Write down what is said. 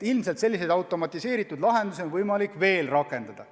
Ilmselt selliseid automatiseeritud lahendusi on võimalik veel rakendada.